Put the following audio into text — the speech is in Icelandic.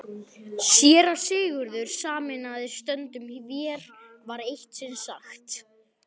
SÉRA SIGURÐUR: Sameinaðir stöndum vér, var eitt sinn sagt.